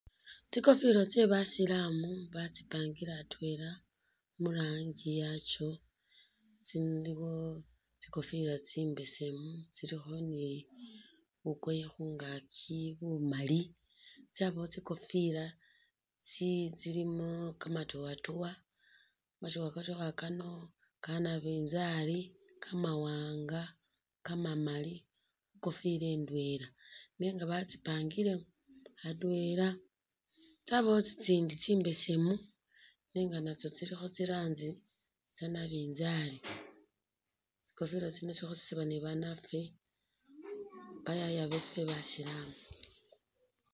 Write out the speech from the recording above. Tsikofila tse basilamu batsipangile atwela murangi yatso tsiliwo tsikofila tsimbesemu tsilikho ni bukoye khungaaki bumaali tsabawo tsikofila tsili tsilimo kamatowatowa kamatowatowa Kano kanabinzali, kamawanga kamamaali ikofila indwela nenga batsipangile atwela yabawo tsitsindi tsimbesemu nenga natso tsilikho tsirangi tsanabinzali tsikofila tsino tsikhosrsebwa ni banafe bayaya befe basilamu